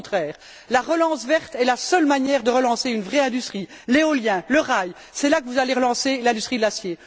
Au contraire, la relance verte est la seule manière de redynamiser une vraie industrie l'éolien, le rail, c'est par là que vous allez relancer l'industrie de l'acier.